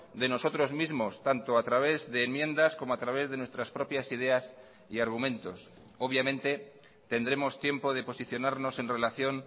de nosotros mismos tanto a través de enmiendas como a través de nuestras propias ideas y argumentos obviamente tendremos tiempo de posicionarnos en relación